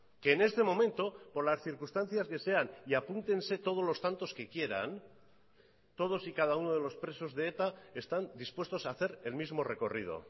que en este momento por las circunstancias que sean y apúntense todos los tantos que quieran todos y cada uno de los presos de eta están dispuestos a hacer el mismo recorrido